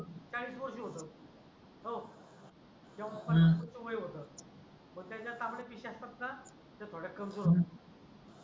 काही वर्ष होतात हो तेव्हा हम्म तरुणाच वय होतो मग जय तांबड्या पिशया असतात णा त्या थोड्या कमजोर होतात.